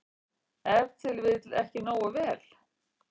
Ef til vill ekki nógu vel.